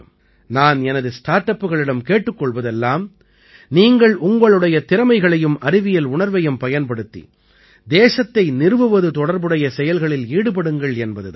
நான் எனது ஸ்டார்ட் அப்புகளிடம் கேட்டுக் கொள்வதெல்லாம் நீங்கள் உங்களுடைய திறமைகளையும் அறிவியல் உணர்வையும் பயன்படுத்தி தேசத்தை நிறுவுவது தொடர்புடைய செயல்களில் ஈடுபடுங்கள் என்பது தான்